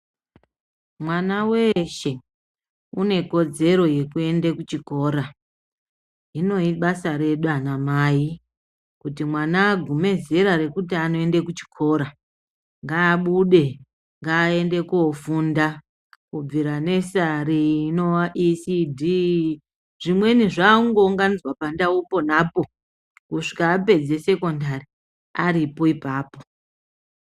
Mwana weshe une kodzero yekuende kuchikora. Hinoyi ibasa redu anamai kuti mwana agume zera rekuti anoende kuchikora ngaabude, ngaende kofunda kubvira nesari inova ECD . Zvimweni zvakungounganidzwa pandau ponapo kusvika apedze sekondari aripo ipapo.